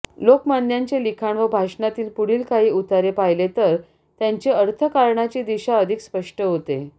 लोकमान्यांचे लिखाण व भाषणातील पुढील काही उतारे पाहिले तर त्यांची अर्थकारणाची दिशा अधिक स्पष्ट होते